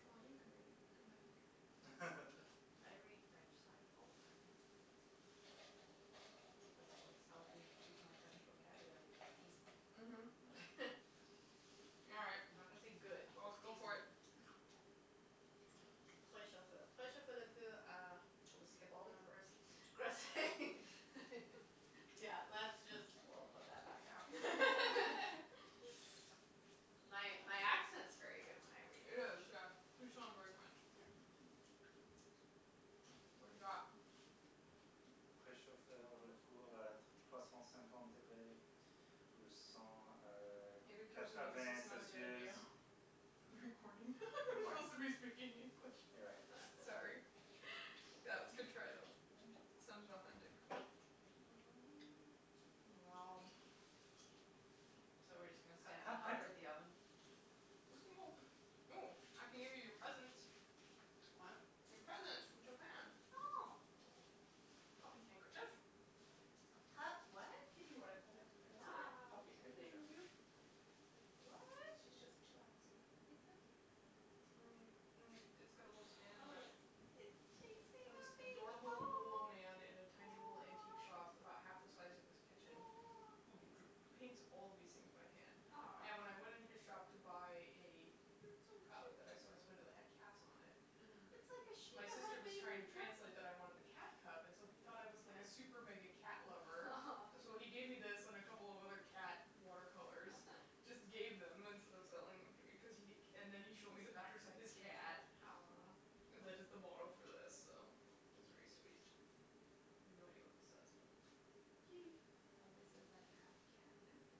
Well, you can read it or Matthew can read it. I read French sides all the time. I think that's what's helped me keep my French vocabulary decent. Mhm. All right, I'm not gonna say good, well, but go for decent. it. We'll just skip all the numbers. Yeah, that's just, woah, put that back now. My my accent's very good when I read It is, French. yes, you sound very French. Yeah. Mhm. What have you got? It occurs to me this is not a good idea. For the recording. We're supposed to be speaking English. You're right. S- sorry That was a good try, though. Yeah. Sounded authentic. Wow. So, we're just gonna and hover at the oven? We can go. Oh, I can give you your presents. What? Your presents from Japan. Oh. Puppy handkerchief. A pup what? A kitty one I It's a What? Aw, puppy cute. handkerchief. cute? What? She's just chillaxing. He's so cute sitting like Mhm. that. Mm. It's got a little Oh, stand in the back. it is. It's chasing a This big ball, adorable little old oh. man in a tiny little antique shop about half the size of this kitchen who dr- paints all these things by hand. And when Aw. I went in his shop to buy a You're so cup that I saw in his cute. window that had cats on it. Mhm. It's like a My shiba had sister a was baby trying to with Lexie. translate that I wanted the cat cup and so he thought I was like a super mega Yeah. cat lover. So he gave me this and a couple of other cat water colors, just gave them instead of selling them to be cuz he. And then he showed me the This back pictures of side's his cute, too. cat. Aw. That is the model for this, so it was very sweet. I have no idea what this says, but It's it's a kitty kitty. It probably says, like, happy cat napping.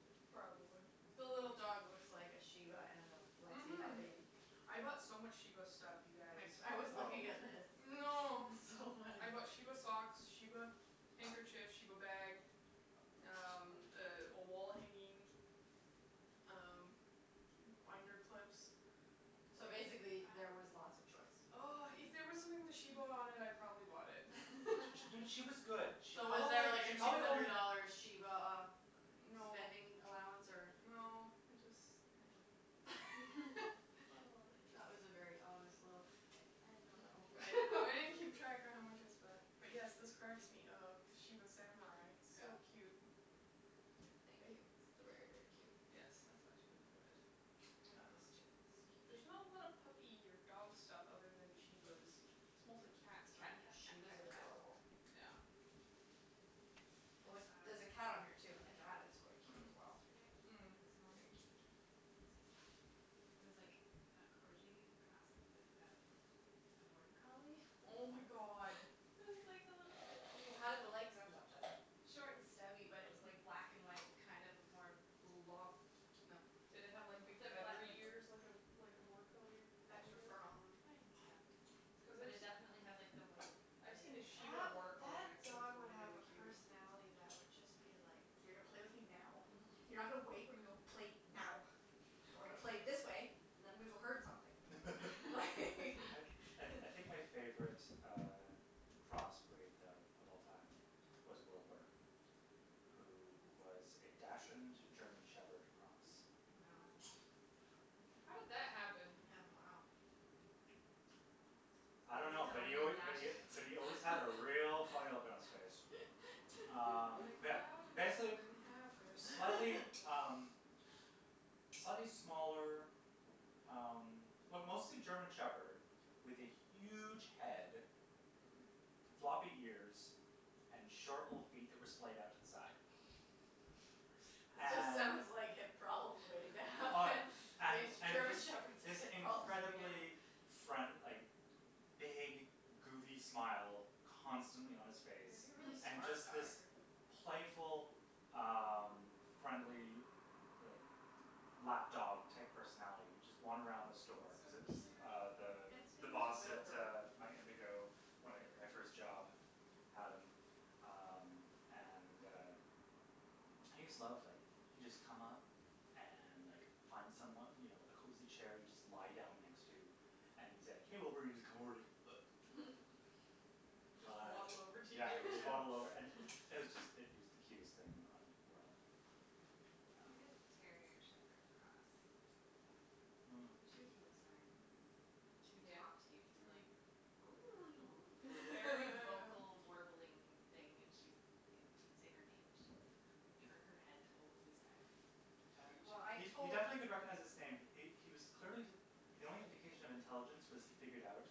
Or Probably. The something. little dog Mhm. looks like a shiba and a Lexie had a Mhm. baby. I bought so much shiba stuff, you guys. I I was Oh. looking at this. Oh no. It's so funny. I bought shiba socks, shiba handkerchiefs, shiba bag, um, a wall hanging, um, binder clips. So basically there was Wow. lots of choice. Oh, if there was something with a shiba on it, I probably bought it. She was good. She So, was probably, there, like, a she two probably hundred only dollar shiba uh No, spending allowance or? no, it just, I don't know. It's got a lotta pics. That was a very honest little, I I don't I I know. didn't keep track of how much I spent. But, yes, this cracks me up, the shiba samurai, Yeah. No. so cute. Thank you. This is very, very cute. Yes, I thought you would enjoy it. I Uh. like this, too. This is There's not cute. a lot of puppy or dog stuff other than shibas. It's mostly cats. Cat, cat, cat, cat, shibas are cat. adorable. Yeah. Like, I there's a cat on here, saw too, and the cat a is quite cute Mhm. as dog well. yesterday. Or Mm. this Very morning. cute. Maybe it was yesterday. It was like a corgi crossed with a border collie. Oh, my god. It was like a little How did the legs end up, then? Short and stubby, but it was like black and white kind of a more Long, no. Did it have, like, big feathery ears like a like a border collie collie Extra does? fur on them. Kind of, Cuz but I've it definitely had s- like the white I've seen in a it and shiba That border wou- collie that mix and it's dog would have really a cute. personality that would just be like, "You're gonna play with me now, you're not gonna wait, we're gonna play now and we're gonna play That's this way true. and I'm gonna go herd something, like" I I I think my favorite uh crossbreed though of all time was Wilbur, who was a dachshund German shepherd cross. Oh my Wow. gosh. How did that happen? Yeah, wow. I don't A know, but real he al- dine but he and but dash. he always had a real funny look on his face. Um, Like, yeah, how did that basic- even , happen? slightly, um, slightly smaller um well mostly German Shepherd with a huge head, floppy ears and short little feet that were splayed out to the side. It just And sounds like hip problems way Oh, down. and and German this Shepherds have this hip problems at the beginning. incredible friend- like, big goofy smile constantly on his It face. would be a really And smart just dog. this playful um friendly, like, lap dog type personality that would just wander around the That's so store cuz it was cute. uh Mm. the And its the name was boss at Wilbur. my Indigo. At Whatever. my first job had him um and uh he just loved like he'd just come up and like find someone, you know, a cozy chair he'd just lie down next to and he's like, hey Wilbur, and he's just come over and like He'd just waddle over to you, Yeah, just waddle over. yeah. It was just it was the cutest thing in the world. We had a Um. Mm. terrier shepherd cross for a while. Mm. She was really smart. She would Yeah. talk to you. She'd be Mhm. like Like, very vocal warbling thing and she'd, yeah. You'd say her name and she'd like turn her head totally sideways. He- well, I He he tot- definitely Cute. could recognize his name. He he was clearly the only indication of intelligence was he figured out,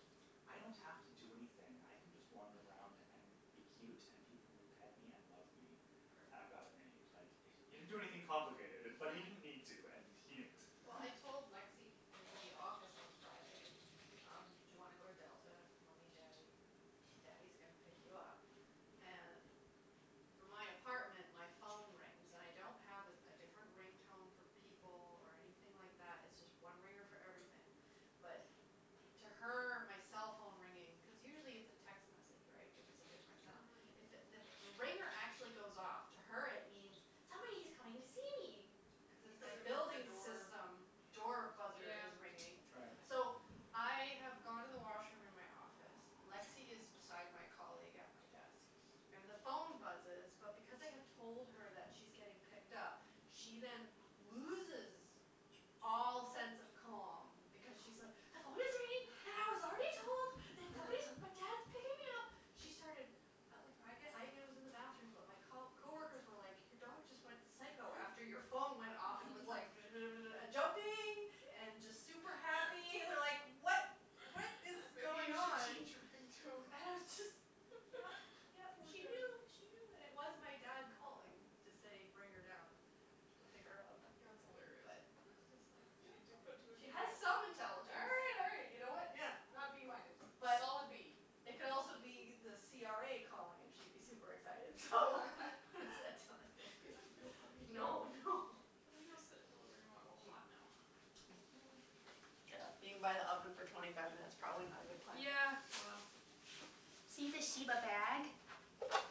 "I don't have to do anything." I can just wander around and be cute and people will pet me and love me. Perfect. I've got it made. Like, Perfect. he didn't do anything complicated, but he didn't need to, and he knew it. Well, I told Lexie in the office on Friday, um, do you want to go to Delta, mommy and daddy? Daddy's gonna pick you up. And from my apartment, my phone rings. And I don't have a a different ring tone for people or anything like that, it's just one ringer for everything, but to her my cell phone ringing. Cuz usually it's a text message, right, which is a different sound. Mhm. It's if the ringer actually goes off, to her it means, "Somebody's coming to see me", cuz it's my Cuz it means the building door. system door buzzer Yeah. is ringing. Right. So, Right. I have gone to the washroom in my office, Lexie is beside my colleague at my desk and the phone buzzes, but because I have told her that she's getting picked up, she then loses all sense of calm because she's, like, "The phone is ringing and I was already told that somebody, that dad's picking me up. She started. At like, I, again, was in the bathroom, but my co- coworkers were like your dog just went psycho after your phone went off and was like and jumping and just super happy and they're like what, what is Maybe going you should on? change your And it ringtone. was just, yeah, yeah, Poor she doggy. knew, she knew. And it was my dad calling to say bring her down to pick her up, That's hilarious. but it's just like, yeah, She just put two and two she has together. some intelligence. Hey, you know, you know what, Yeah. not B minus. But Solid B. it could also be the CRA calling and she'd be super excited, so what does that tell you? Cuz like no puppy No, no. Can we go sit in the living room? I'm all hot now. Yeah, being by the oven for twenty five minutes, probably not a good plan. Yeah, well. See the shiba bag?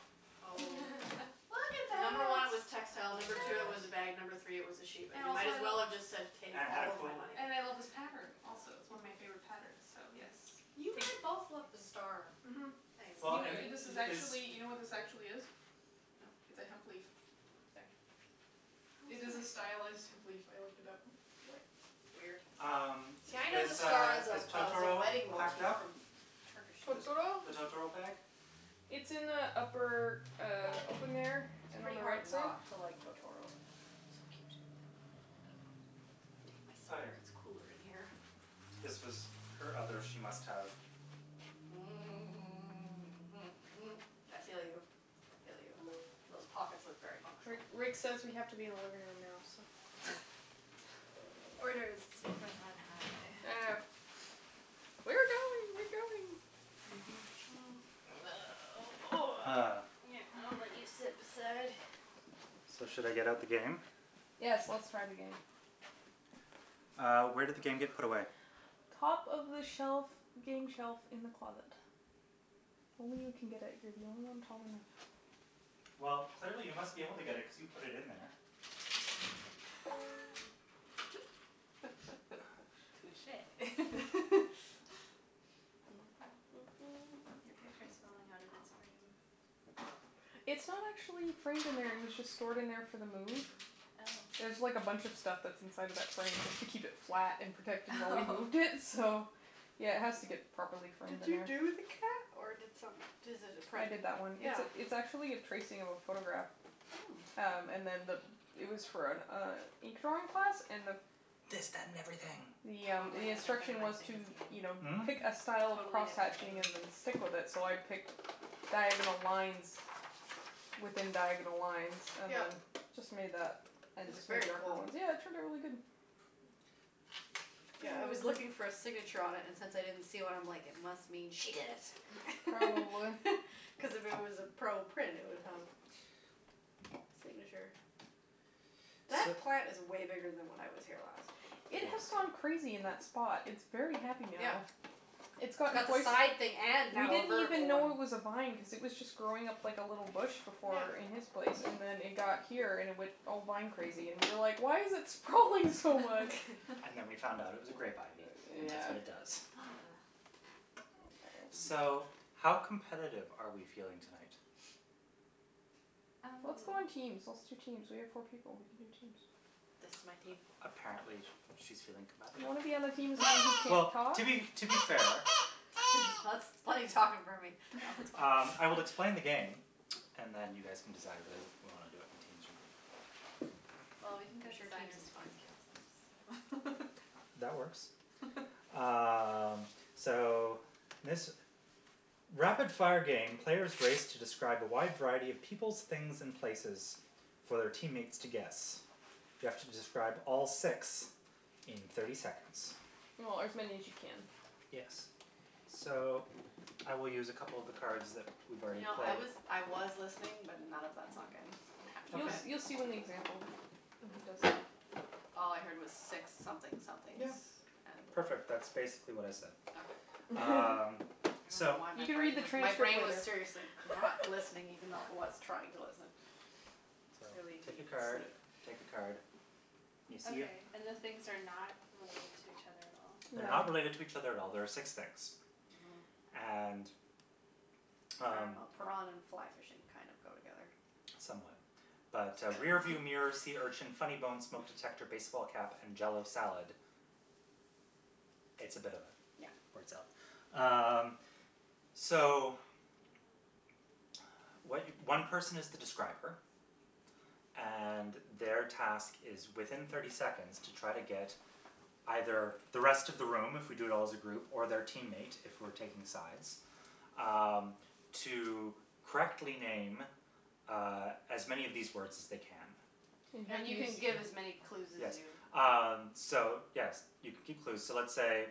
Oh. Look at Number one, it was that. textile; Oh, number two it my was a god. bag; Look. number three it was a sheep. And And it also might I as love well have just said take And had a all of my pull money. And I love this pattern also, it's Yeah. one of my Mhm. favorite patterns, so yes. Mhm. You had both loved the Take. star Mhm. things. Well, You and, kn- this is it's. actually, you know what this actually is? It's No. a hemp leaf. No. Oops, sorry. How It is it is a a h- stylus hemp leaf. I looked it up. We- weird. Um, See, I know the is, star uh, as a is as a Totoro wedding packed motif up? from Turkish. The Totoro? the Totoro bag? It's in the upper, uh, open there It's and on pretty the right hard side. not to like Totoro. It's so cute. I'm gonna take my Oh, sweater; yes. it's cool in here. This was her other she must have. Mm. Mhm. mhm, mhm. I feel you, I feel you. Those pockets look very Ri- functional. Rick says we have to be in the living room now, so. Okay. Orders from on high. I know. We're going, we're going. Ah. I'll let you sit beside. So, should I get out the game? Yes, let's try the game. Uh, where did the game get put away? Top of the shelf, game shelf in the closet. Only you can get it. You're the only one tall enough. Well, clearly you must be able to get it cuz you put it in there. Touche. Your picture is falling out of its frame. It's not actually framed in there. It was just stored in there for the move. Oh. There's like a bunch of stuff that's inside of that frame just to keep it flat and protected while we Oh moved in, so yeah, it has to get properly framed Did in you there. do the cat or did some- does it a I print? did that one. It's Yeah. it's actually a tracing of a photograph. Hmm. Um, and then the it was for an uh ink drawing class and the This, that and everything. Yeah, Totally the different than instruction was to, game. you know, Hmm? pick a style of Totally different than crosshatching and then stick with it, so I picked diagonal lines within diagonal lines and Yeah. then just made that and It's just made very darker cool. ones. Yeah, it turned out really good. Mm. Yeah, I was looking for a signature on it and since I didn't see one, I'm like, it must mean she did it Probably. cuz if it was a pro print, it would have a signature. So. That plant is way bigger than when I was here last. It Yes. has gone crazy in that spot. It's very happy Yeah. now. It's gotten Got the quite side thing and We now a didn't even vertical one. know it was a vine cuz it was just growing up like a little bush before in Yeah. his place and then it got here and it went all vine crazy and we were like, why is it sprawling so much? And then we found out it was a grape ivy and that's Yeah. what it does. Ah. Oh. So, how competitive are we feeling tonight? Um. Let's go in teams, let's do teams. We have four people; we can do teams. This is my team. A- apparently she's feeling You competitive. wanna be on the team with somebody who can't Well, talk? to be, to be fair That's talking for me. No, that's Um, fine. I will explain the game and then you guys can decide whether we want to do it in teams or not. Well, we can I'm go sure teams designers is fine. against counselors, so That works. Um, so this rapid-fire game, players race to describe a wide variety of peoples, things and places for their teammates to guess. You have to describe all six in thirty seconds. Or as many as you can. Yes. So, I will use a couple of the cards that we've You already know, I played. was I was listening, but none of that sunk in, I have to You Okay. admit. you'll see when the example when he does that. All I heard was six something somethings Yeah, and. perfect, that's basically what I said. Okay. Um, I don't know so. why You my can read brain the was, my transcript brain was later. seriously not listening, even though I was trying to listen. So, Clearly take a need card, sleep. take a card. You see them? Okay, and the things are not related to each other at all? They're No. not related to each other at all; there are six things. Mhm. And, I don't um know, piranha and and fly fishing kind of go together. Somewhat. But, uh, rearview So. mirror, sea urchin, funny bone, smoke detector, baseball cap and jell-o salad, it's a bit of yeah Yeah. words up. Um, so what one person is the describer, and their task is within thirty seconds to try to get either the rest of the room if we do it all as a group or their teammate if we're taking sides Um, to correctly name uh as many of these words as they can. And you have And to you use can give as many clue Yes. as you Um, so yes, you can keep clues. So let's say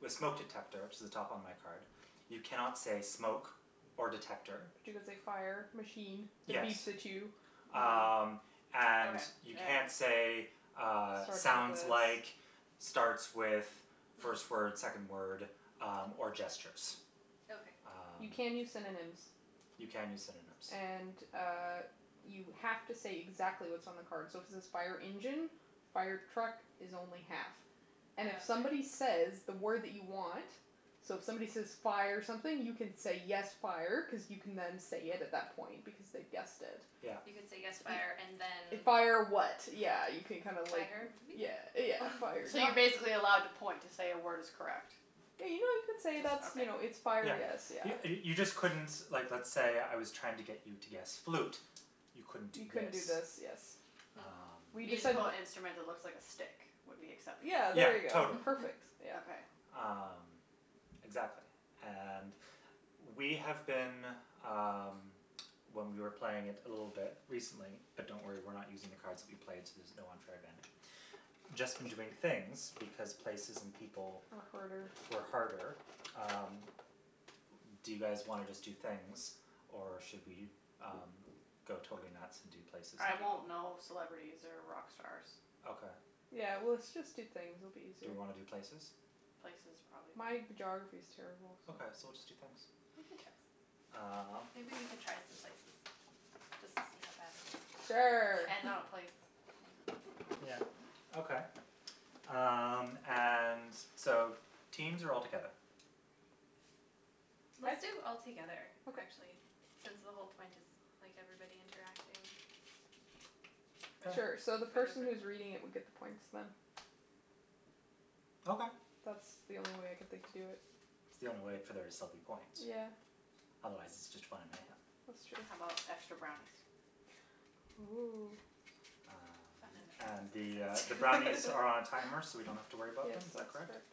with smoke detector, which is at the top on my card, you cannot say smoke or detector. But you could say fire, machine that Yes. beeps at you. Mm. Um, and Okay, you yeah can't say, yeah. uh, Starts with sounds like, this. starts with, first word, Hmm. second word, um, or gestures. Okay. Um. You can use synonyms. You can use synonyms. And, uh, you have to say exactly what's on the card, so if it says fire engine, fire truck is only half. Oh, And if okay. somebody says that word that you want, so if somebody says fire something, you can say yes, fire, cuz you can then say it at that point, because they've guessed it. Yeah. You can say yes You fire and then Fire, fire vehicle. what, yeah, you can kind of like yeah, yeah, fire. So you're basically Yeah. allowed to point to say a word is correct? Yeah, you know, you can say Just that's, okay. you know, it's fire, Yeah. yes, yeah. You you just couldn't, like let's say I was trying to get you to guess flute; you couldn't do You couldn't this. do this, yes. Hmm. We Um. decided Musical that instrument that looks like a stick would be acceptable? Yeah, Yeah, there you go. totally. Perfect, yeah. Okay. Um, exactly, and we have been, um, when we were playing it a little bit recently, but don't worry, we're not using the cards that we played, so there's no unfair advantage, just been doing things because places and people Are harder. were harder. Um, do you guys wanna just do things or should we um go totally nuts and do places I and won't people? know celebrities or rock stars. Okay. Yeah, well let's just do things, it'll be Do easier. we wanna do places? Places, probably. My geography is terrible, so. Okay, so we'll just do things. We can try some- Um. maybe we can try some places just to see how bad it is. Sure. And not a place. Mm. Yeah, okay. Um, and so teams or all together? Let's I do all together, Okay. actually, since the whole point is like everybody interacting Sure. Sure, so together the for the person who is recording reading it thing. would get the points, then. Okay. That's the only way I can think to do it. It's the only way for there to still be point. Yeah. Otherwise it's just fun and mayhem. That's true. How about extra brownies? Oh. Um, Fun and the, uh, the and brownies are on a timer so we don't have to worry about Yes, them, is that that's correct? correct.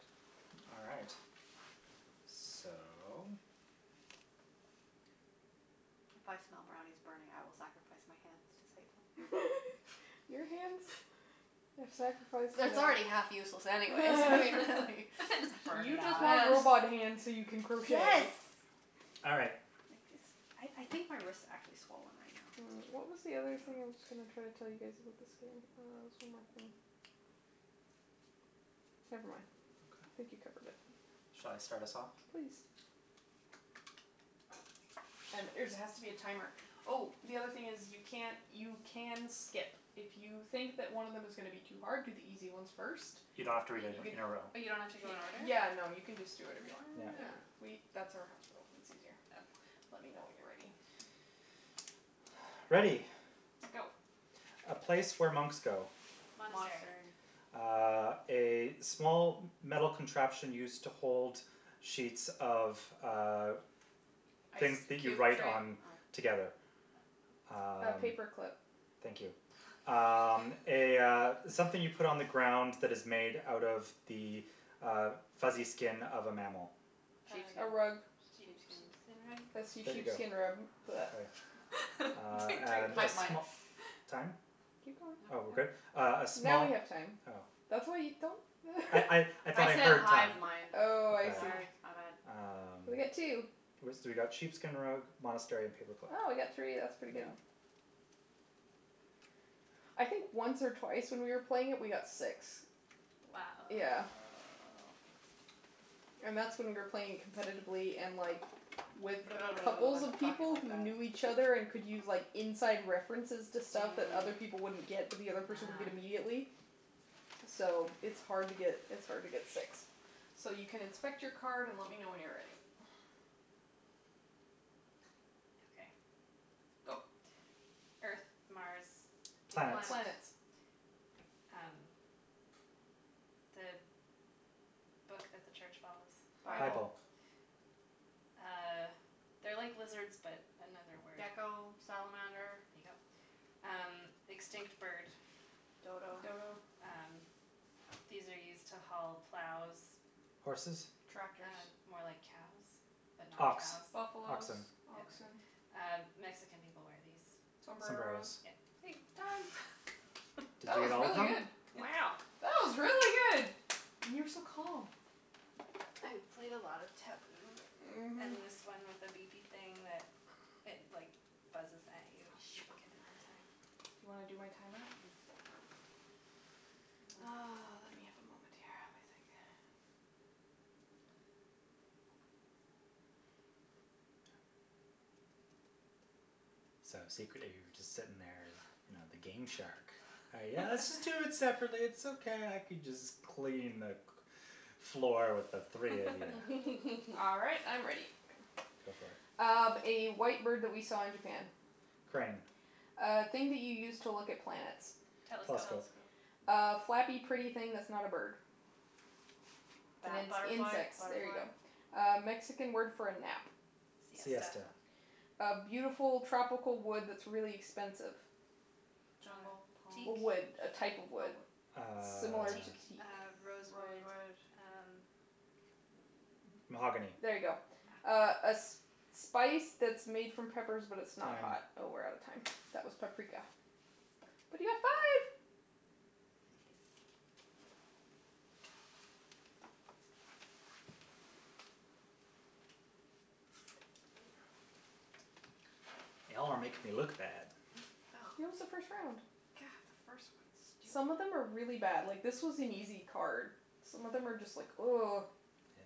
All right. So. If I smell brownies burning, I will sacrifice my hands to save them. Your hands have sacrificed It's it's enough. already half useless anyways Just burn You it just off. want robot hands so you can Yes. crochet. All right. Like this, I I think my wrist actually swollen right now. Mm, I what don't was the other thing know. I was going to try to tell you guys about this game? Uh, there was one more thing. Never mind. I think you Okay. covered it. Shall I start us off? Please. And there's it has to be a timer. Oh, the other thing is, you can't you can skip. If you think that one of them is gonna be too hard, do the easy ones first. You don't have to read it You can in a row. But you don't have to go in order? Yeah, no, you can just do whatever you want. Yeah. Yeah, Oh. we that's our house rule, it's easier. Okay. Let me know when you're ready. Ready. Go. A place where monks go. Monastery. Monastery. Uh, a small metal contraption used to hold sheets of, uh, things Ice that you cube write tray? on Oh. together. Oh. A Um. paper clip. Thank you. Um, a, uh, something you put on the ground that is made out of the uh fuzzy skin of a mammal. Uh, A rug. sheep Sheepskin. sheepskin rug? A see There Sheepskin. you go. sheepskin rub. Okay. Uh, Between three of and us a we Hive go it. mind. sm- time? Keep going. Oh, No. we're good? Uh a Now we small have time. Oh. That's why you don't I I I thought I I said heard hive time. mind. Oh, I see. Sorry, my bad. Ah. Um, We got two. we got sheepskin rug, monastery and paperclip. Oh, we got three, that's pretty good. Mm. Yeah. I think once or twice when we were playing it we got six. Wow. Yeah. Wow. And that's when we were playing it competitively and, like, with couples of Talking people like who that. knew each other and could use, like, inside references to stuff that other Mm. people wouldn't get but the other person would get Ah. immediately, so it's hard to get, it's hard to get six. So you can inspect your card and let me know when you're ready. Okay. Go. Earth, Mars, Venus. Planets. Planets. Planets. Um, the book that the church follows. Bible. Bible. Bible. Uh, they're like lizards but another word. Gecko, salamander. There you go. Um, extinct bird. Dodo. Dodo. Um, these are used to haul plows. Horses? Tractors. Uh more like cows but not Ox, cows. Buffalos, oxen. Yeah. oxen. Uh, Mexican people wear these. Sombreros. Sombreros. Yeah. Time. Did That you get was all of really them? good. It's. Wow. That was really good. And you were so calm. I've played a lot of Taboo Mhm. and this one with a beepy thing that it, like buzzes at you if you don't get it in time. Do you wanna do my timer? Mm. Mm. Oh, let me have a moment here. Let me think. So, secretly you were just sitting there, you know, the game shark. Yeah, let's just do it separately, it's okay, I can just clean the cl- floor with the three of you. All right, I'm ready. Go for it. Um, a white bird that we saw in Japan. Crane. A thing that you use to look at plants. Telescope. Telescope. Telescope. A flappy, pretty thing that's not a bird. It's Bat- ins- butterfly, insects, there you butterfly. go. A Mexican word for a nap. Siesta. Siesta. A beautiful tropical wood that's really expensive. Uh, Jungle, teak? palm? A wood, a type of Oh. wood. Uh. Similar Teak, to teak. uh, rosewood, Rosewood. uh. Mm. Mahogany. There you go. Ah. Oh. A a sp- spice that's made from peppers but it's not Time. hot. Oh, we're out of time. That was paprika. But you got five! Nice. Y'all are making me look bad. Oh. It was the first round. God, first one's stupid. Some of them are really bad. Like, this was an easy card. Some of them are just like Yes.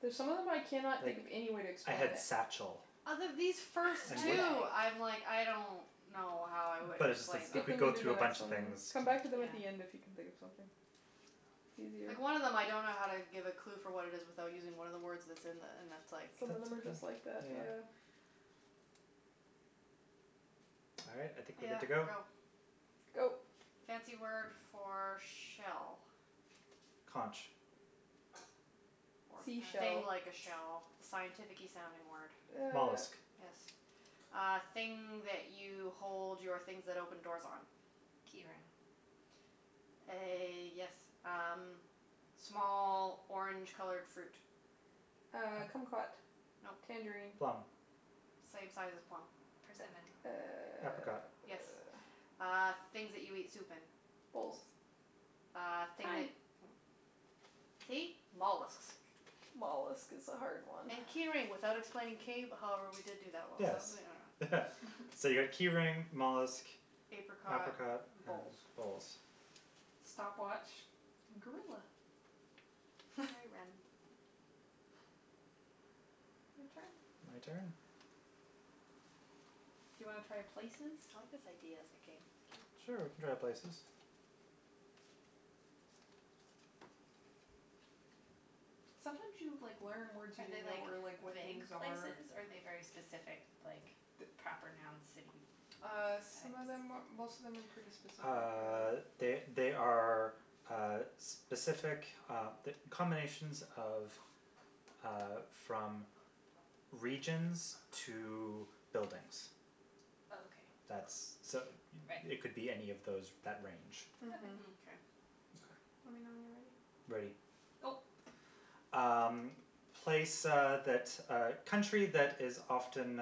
There's some of them I cannot think Like, of any way to I explain had it. satchel. Out of these first And wh- Man two, bag. I'm like, I don't know how I would But it's just like explain you them. Skip could them go and do through a then next bunch of one, then. things. Come back to them at Yeah. the end if you can think of something. It's easier. Yeah. Like, one of them I don't know how to give a clue for what it is without using one of the words that's in the, and it's like. Some of That's, them are yeah, just like that, yeah. yeah. All right, I think we're good Yeah, to go. go. Go. Fancy word for shell. Conch. Or I thing Seashell. like a don't shell, the scientificky sounding word. Uh. Mollusk. Yes. Uh, thing that you hold your things that open doors on. Key ring. A, yes, um, small orange colored fruit. Uh, kumquat. No. Tangerine. Plum. Same size as a plum. Persimmon. Uh, Apricot. Yes. uh. Uh, things that you eat soup in. Bowls. Bowls. Uh, thing Time. that mm See? Mollusks. Mollusk is a hard one. And key ring without explaining cave- however, we did do that one I Yes. don't know. So you got key ring, mollusk, Apricot, apricot and bowls. bowls. Stopwatch, gorilla. Very random. Your turn. My turn? Do you wanna try places? I like this idea as a game. It's Sure, we cute. can try places. Sometimes you, like, learn words you Are they, didn't know like or, like, what vague things are. places or are they very specific, like, The the proper noun city Uh, types? some of them, most of them are pretty specific, Uh, yeah. they they are uh specific uh combinations of uh from regions to buildings. Okay. That's, so Right. it it could be any of those that range. Okay. Mhm. Mkay. Okay. Let Okay. me know when you're ready. Ready. Go. Um, place uh that, uh, country that is often